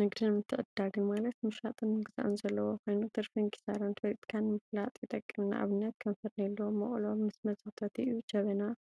ንግድን ምትዕድዳግን ማለት ምሻጥን ምግዛእን ዘለዎ ኮይኑ ትርፊን ኪሳራን ፈሊካ ንምፈላጥ ይጠቅም፡፡ ንአብነት ከም ፈርኔሎ፣ መቅሎ ምስ መሰክተቲኡ፣ ጀበናን